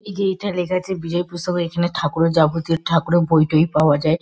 এই যে এটা লেখা আছে বিজয়া পুস্তকা এখানে ঠাকুরের যাবতীয় ঠাকুরের বই টই পাওয়া যায়।